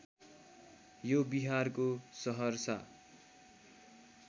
यो बिहारको सहरसा